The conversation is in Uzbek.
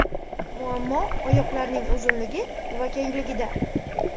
Muammo oyoqlarning uzunligi va kengligida.